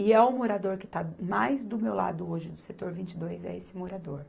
E é o morador que está mais do meu lado hoje, do Setor vinte e dois, é esse morador.